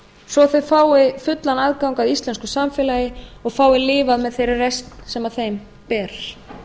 svo að þau fái fullan aðgang að íslensku samfélagi og fái lifað með þeirri reisn sem þeim ber